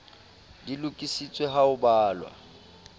di lokisitswe ha ho balwa